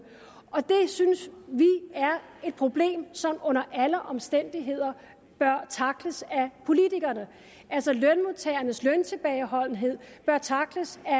synes vi er et problem som under alle omstændigheder bør tackles af politikerne altså lønmodtagernes løntilbageholdenhed bør tackles af